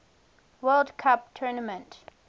world cup tournament